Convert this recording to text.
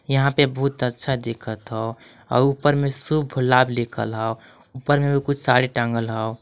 यहाँ पे बहुत अच्छा दिखत हौ आव ऊपर में शुभ लाभ लिखल हौ ऊपर में भी कुछ साड़ी टांगल हौ।